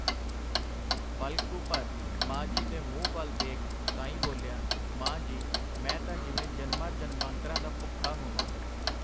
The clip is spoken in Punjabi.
ਪਲ ਕੁ ਭਰ ਮਾਂ ਜੀ ਦੇ ਮੂੰਹ ਵੱਲ ਦੇਖ ਸਾਈਂ ਬੋਲਿਆ, ਮਾਂ ਜੀ, ਮੈਂ ਤਾਂ ਜਿਵੇਂ ਜਨਮਾਂ ਜਨਮਾਂਤਰਾਂ ਦਾ ਭੁੱਖਾ ਹੋਵਾਂ.